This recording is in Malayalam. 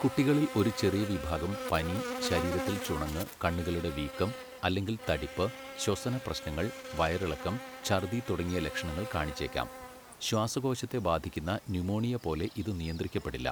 കുട്ടികളിൽ ഒരു ചെറിയ വിഭാഗം പനി, ശരീരത്തിൽ ചുണങ്ങ്, കണ്ണുകളുടെ വീക്കം അല്ലെങ്കിൽ തടിപ്പ്, ശ്വസന പ്രശ്നങ്ങൾ, വയറിളക്കം, ഛർദ്ദി തുടങ്ങിയ ലക്ഷണങ്ങൾ കാണിച്ചേക്കാം ശ്വാസകോശത്തെ ബാധിക്കുന്ന ന്യുമോണിയ പോലെ ഇത് നിയന്ത്രിക്കപ്പെടില്ല.